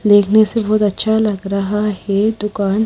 देखने से बहुत अच्छा लग रहा है दुकान--